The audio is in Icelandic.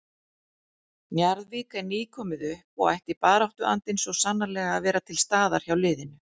Njarðvík er nýkomið upp og ætti baráttuandinn svo sannarlega að vera til staðar hjá liðinu.